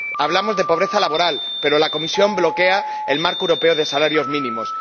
hablamos de pobreza laboral, pero la Comisión bloquea el marco europeo de salarios mínimos.